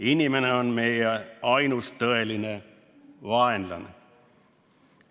Inimene on meie ainus tõeline vaenlane.